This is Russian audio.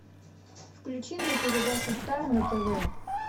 включи мне передачу стар на тв